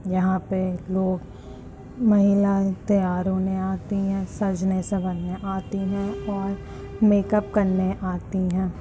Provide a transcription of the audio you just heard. यहाँ पे लोग महिलाए तैयार होने आती है। सजने सवरने आती है और मेक अप करने आती है।